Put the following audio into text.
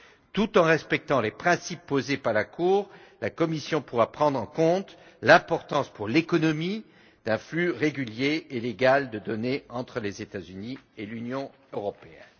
Tout en respectant les principes posés par la Cour, la Commission pourra prendre en compte l'importance, pour l'économie, d'un flux régulier et légal de données entre les États Unis et l'Union européenne.